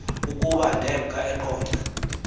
ukuba ndemka eqonce